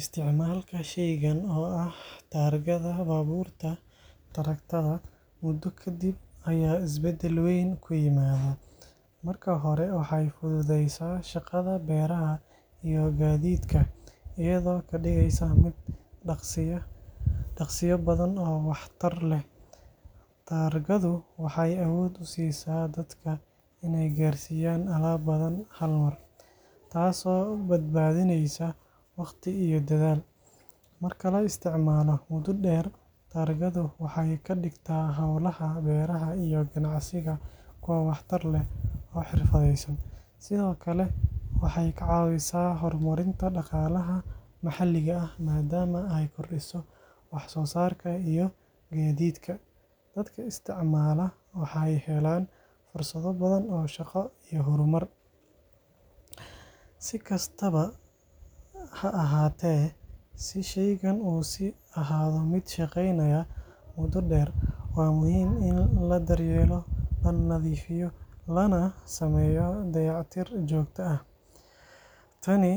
Isticmaalka shaygan oo ah taargada baabuurta (traktor) muddo ka dib ayaa isbedel weyn ku yimaada. Marka hore, waxay fududeysaa shaqada beeraha iyo gaadiidka, iyadoo ka dhigaysa mid dhaqsiyo badan oo waxtar leh. Taargadu waxay awood u siisaa dadka inay gaarsiiyaan alaab badan hal mar, taasoo badbaadineysa waqti iyo dadaal. Marka la isticmaalo muddo dheer, taargadu waxay ka dhigtaa howlaha beeraha iyo ganacsiga kuwo waxtar leh oo xirfadeysan. Sidoo kale, waxay ka caawisaa horumarinta dhaqaalaha maxalliga ah, maadaama ay kordhiso wax-soo-saarka iyo gaadiidka. Dadka isticmaala waxay helaan fursado badan oo shaqo iyo horumar. Si kastaba ha ahaatee, si shaygani u sii ahaado mid shaqeynaya muddo dheer, waa muhiim in la daryeelo, la nadiifiyo, lana sameeyo dayactir joogto ah. Tani